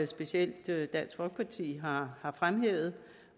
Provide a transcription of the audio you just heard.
specielt dansk folkeparti har fremhævet